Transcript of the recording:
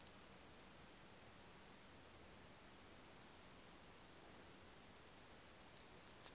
o ile a fela a